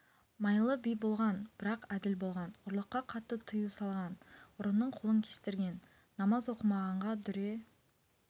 майлы би болған бірақ әділ болған ұрлыққа қатты тыю салған ұрының қолын кестірген намаз оқымағанға дүре